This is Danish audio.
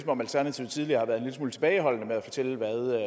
om alternativet tidligere har været en lille smule tilbageholdende med at fortælle hvad